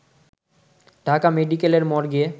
ঢাকা মেডিকেলের মর্গে